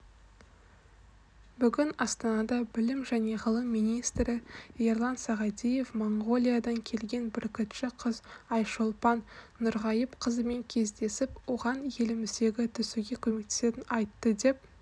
бүгін астанада білім және ғылым министрі ерлан сағадиев моңғолиядан келген бүркітші қыз айшолпан нұрғайыпқызымен кездесіп оған еліміздегі түсуге көмектесетін айтты деп